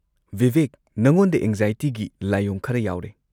ꯕꯤꯕꯦꯛ, ꯅꯉꯣꯟꯗ ꯑꯦꯡꯖꯥꯏꯇꯤꯒꯤ ꯂꯥꯏꯑꯣꯡ ꯈꯔ ꯌꯥꯎꯔꯦ꯫